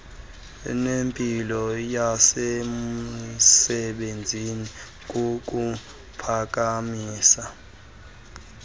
nempilo yasemsebenzini kukuphakamisa